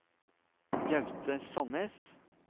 Gaute Sannes